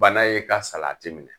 Bana y'e ka salati minɛ.